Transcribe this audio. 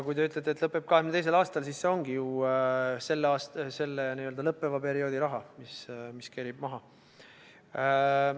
Kui te ütlete, et lõpeb 2022. aastal, siis see ongi ju selle lõppeva perioodi raha, mis kerib maha.